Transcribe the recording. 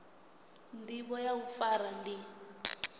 ndivho ya u fara ndi